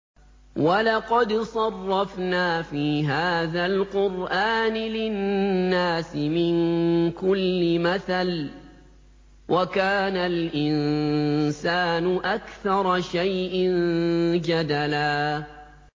وَلَقَدْ صَرَّفْنَا فِي هَٰذَا الْقُرْآنِ لِلنَّاسِ مِن كُلِّ مَثَلٍ ۚ وَكَانَ الْإِنسَانُ أَكْثَرَ شَيْءٍ جَدَلًا